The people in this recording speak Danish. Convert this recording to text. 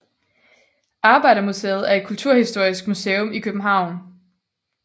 Arbejdermuseet er et kulturhistorisk museum i København